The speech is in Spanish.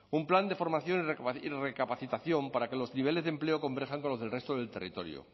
un plan de formación y recapacitación para que los niveles de empleo converjan con los del resto del territorio